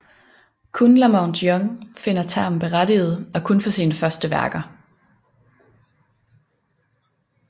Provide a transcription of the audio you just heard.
Kun La Monte Young finder termen berettiget og kun for sine første værker